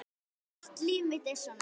Allt líf mitt er svona!